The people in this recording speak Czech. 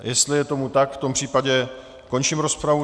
Jestli je tomu tak, v tom případě končím rozpravu.